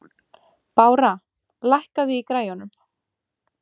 Bára, lækkaðu í græjunum.